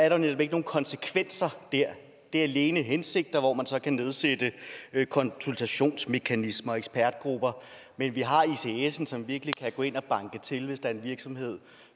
jo netop ikke nogen konsekvenser der det er alene hensigter hvor man så kan nedsætte konsultationsmekanismer og ekspertgrupper men vi har icsen som virkelig kan gå ind og banke til hvis der er en virksomhed